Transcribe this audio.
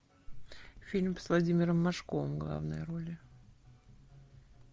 фильм с владимиром машковым в главной роли